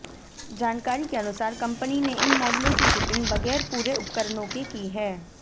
जानकारी के अनुसार कंपनी ने इन मॉडलों की शिपिंग बगैर पूरे उपकरणों के की है